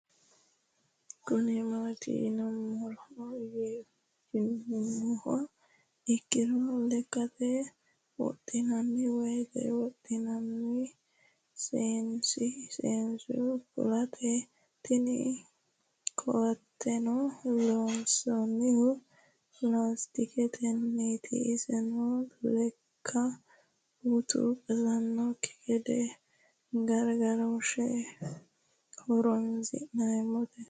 Kuni mati yinumoha ikiro lekate woxinani woyi woxinani seenu koateti tini kooateno loonsonihu lastiketeniti iseno leeka utu qasanoki gede garigarosheho horonsine'mote